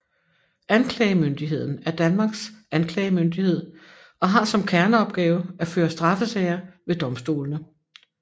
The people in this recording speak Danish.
Anklagemyndigheden er Danmarks anklagemyndighed og har som kerneopgave at føre straffesager ved domstolene